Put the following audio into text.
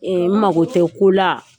Ee n mago tɛ ko la